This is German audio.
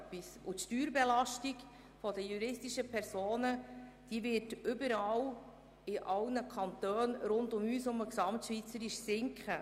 Die Steuerbelastung der juristischen Personen wird überall in allen Kantonen gesamtschweizerisch sinken.